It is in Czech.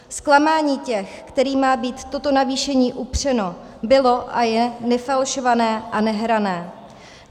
Zklamání těch, kterým má být toto navýšení upřeno, bylo a je nefalšované a nehrané.